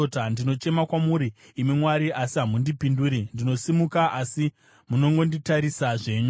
“Ndinochema kwamuri, imi Mwari, asi hamundipinduri; ndinosimuka, asi munongonditarisa zvenyu.